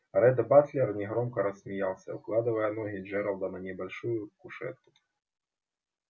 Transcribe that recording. ретт батлер негромко рассмеялся укладывая ноги джералда на небольшую кушетку